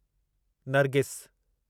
Nargis